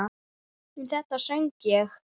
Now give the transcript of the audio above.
Um þetta söng ég